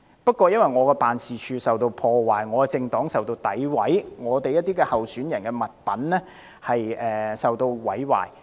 但我的辦事處受到破壞，我的政黨受到詆毀，我們一些候選人的物品受到毀壞。